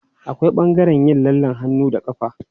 Akwai ɓangaren yin lallen hannu da ƙafa.